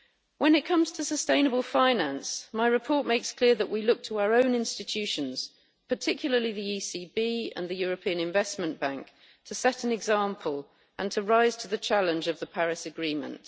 When it comes to sustainable finance, my report makes clear that we look to our own institutions, particularly the ECB and the European Investment Bank, to set an example and to rise to the challenge of the Paris Agreement.